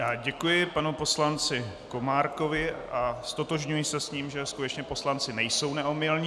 Já děkuji panu poslanci Komárkovi a ztotožňuji se s ním, že skutečně poslanci nejsou neomylní.